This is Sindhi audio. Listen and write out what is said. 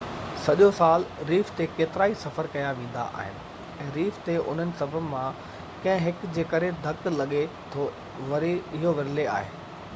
سڄو سال ريف تي ڪيترائي سفر ڪيا ويندا آهن ۽ ريف تي انهن سبب مان ڪنهن هڪ جي ڪري ڌڪ لڳي ٿو اهو ورلي آهي